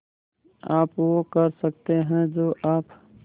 आप वो कर सकते हैं जो आप